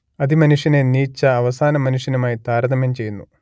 അതിമനുഷ്യനെ Nietzsche അവസാനമനുഷ്യനുമായി താരതമ്യം ചെയ്യുന്നു